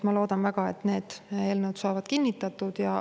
Ma loodan väga, et need eelnõud saavad kinnitatud.